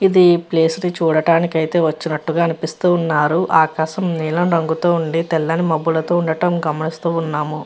ఇది ప్లేస్ ని చూడటానికి అయితే వచ్చినట్టుగా అనిపిస్తూ ఉన్నారు. ఆకాశం నీలం రంగులతో ఉంది. తెల్లటి మబ్బులతో ఉండటం గమనిస్తూ ఉన్నాము.